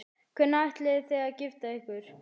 Hvenær ætlið þið að gifta ykkur?